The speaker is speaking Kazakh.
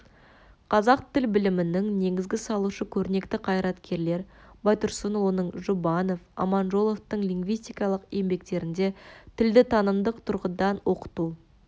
қазақ тіл білімінің негізін салушы көрнекті қайраткерлер байтұрсынұлының жұбанов аманжоловтың лингвистикалық еңбектерінде тілді танымдық тұрғыдан оқыту